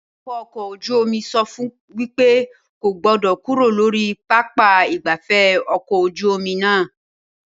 Awakọ̀ ọkọ̀ ojú omi sọ fún wípé kò gbọ́dọ̀ kúrò lórí pápá ìgbafẹ́ ọkọ̀ ojú omi náà